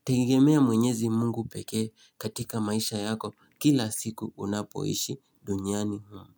kutegemea mwenyezi mungu pekee katika maisha yako kila siku unapoishi duniani.